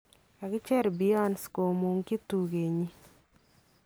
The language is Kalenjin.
Kakicheer Beyonce komung'chi tukenyin.